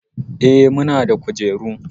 Eh, muna da kujeru.